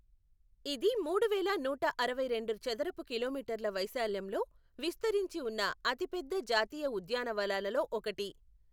ఇది మూడువేల నూట అరవై రెండు చదరపు కిలోమీటర్ల వైశాల్యంలో విస్తరించి ఉన్న అతిపెద్ద జాతీయ ఉద్యానవనాలలో ఒకటి.